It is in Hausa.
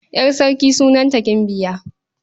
Ƴar sarki sunanta Gimbiya.